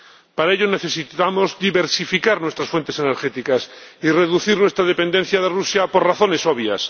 Para ello necesitamos diversificar nuestras fuentes energéticas y reducir nuestra dependencia de Rusia, por razones obvias.